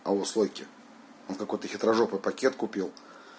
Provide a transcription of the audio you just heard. алло слойки он какой-то хитрожопый пакет купил